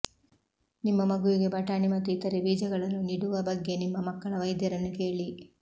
ನಿಮ್ಮ ಮಗುವಿಗೆ ಬಟಾಣಿ ಮತ್ತು ಇತರೆ ಬೀಜಗಳನ್ನು ನಿಡುವ ಬಗ್ಗೆ ನಿಮ್ಮ ಮಕ್ಕಳ ವೈದ್ಯರನ್ನು ಕೇಳಿ